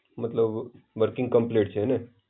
મતલબ working complete છે હેને?